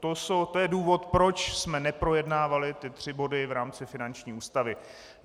To je důvod, proč jsme neprojednávali ty tři body v rámci finanční ústavy.